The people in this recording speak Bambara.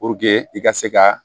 Puruke i ka se ka